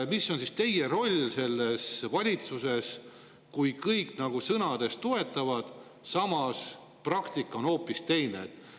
Mis on teie roll selles valitsuses, kui kõik nagu sõnades toetavad, samas praktika on hoopis teine?